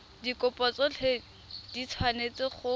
dikopo tsotlhe di tshwanetse go